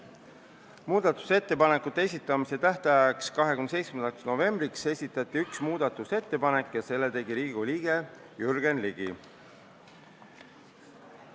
Muudatusettepanekute esitamise tähtajaks, 19. novembriks esitati üks muudatusettepanek ja selle tegi Riigikogu liige Jürgen Ligi.